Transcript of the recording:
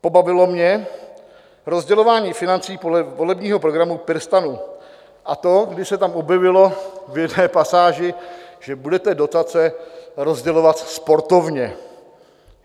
Pobavilo mě rozdělování financí podle volebního programu PirSTAN, a to když se tam objevilo v jedné pasáži, že budete dotace rozdělovat sportovně.